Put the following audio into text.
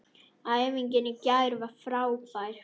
Æfingin í gær var frábær.